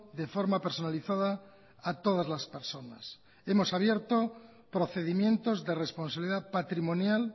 de forma personalizada a todas las personas hemos abierto procedimientos de responsabilidad patrimonial